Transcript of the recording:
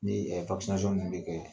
Ni ɛ vakisinasɔn min bɛ kɛ